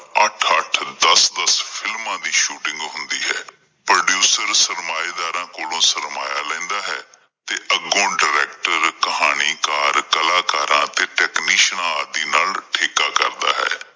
ਦਸ-ਦਸ films ਦੀ shooting ਹੁੰਦੀ ਹੈ, producer ਸਰਮਾਏਂਦਾਰਾ ਕੋਲੋ ਸਰਮਾਇਆ ਲੈਦਾ ਹੈ ਤੇ ਅੱਗੋਂ director ਕਹਾਣੀਕਾਰਾਂ, ਕਲਾਕਾਰਾਂ ਅਤੇ technicians ਆਦਿ ਨਾਲ ਠੇਕਾ ਕਰਦਾ ਹੈ l